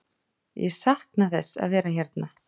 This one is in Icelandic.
Ég sakna þess að vera hérna.